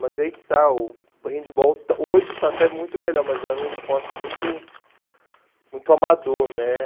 Mas aí que está, o handball hoje está até muito melhor, mas era um esporte muito muito amador, né?